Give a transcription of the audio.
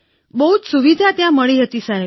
બહુ જ સુવિધા ત્યાં મળી રહી હતી સાહેબ